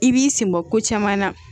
I b'i senbɔ ko caman na